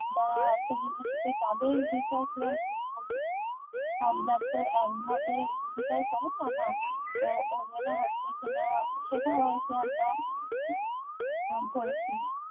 দাও আসেনি নিশ্চয় তাদের বিচার কিরাম ভাবে করছো হাবভাব ওরকম ভাবে বিচার করে না না তো ওই জন্য হচ্ছে কি না সেটা হয়তো আমরা করেছি